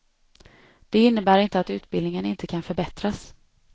Det innebär inte att utbildningen inte kan förbättras.